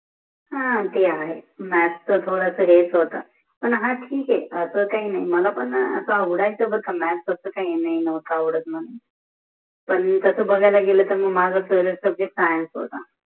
ह ते आहे मॅॅॅथ च थोडस हेच होत पण हा ठीक आहे अस काही नाहि, मलापण पण अस आवडायचं बरका मॅॅॅथ अस काही नाही मॅॅॅथ नवत आवडत मानून पन तस बघायला गेल तर माझा फेवरेट सब्जेक्टसायन्स होता